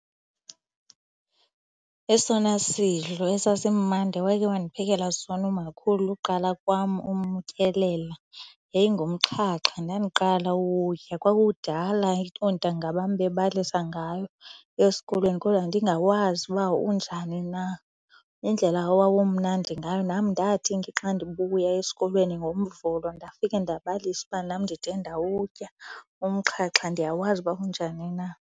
Esona sidlo esasimandi ewayekhe wandiphekela sona umakhulu uqala kwam umtyelela yayingumxhaxha. Ndandiqala uwukutya, kwakudala oontanga bam bebalisa ngayo esikolweni kodwa ndingawazi uba unjani na. Indlela owawumnandi ngayo nam ndathi xa ndibuya esikolweni ngoMvulo, ndafika ndabalisa uba nam ndide ndawutya umxhaxha, ndiyawazi uba unjani na.